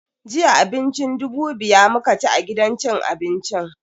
Jiya abincin dubu biya muka ci a gidan cin abincin.